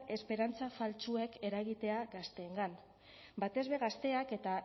esperantza faltsuek eragitea gazteengan batez be gazteak eta